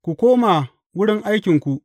Ku koma wurin aikinku!